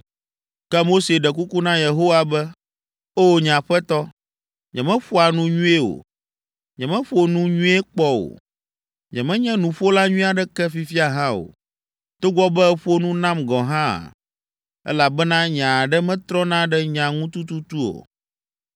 Ke Mose ɖe kuku na Yehowa be, “O, nye Aƒetɔ, nyemeƒoa nu nyuie o. Nyemeƒo nu nyuie kpɔ o; nyemenye nuƒola nyui aɖeke fifia hã o, togbɔ be èƒo nu nam gɔ̃ hã, elabena nye aɖe metrɔna ɖe nya ŋu tututu o.”